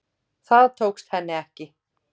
Það tókst henni ekki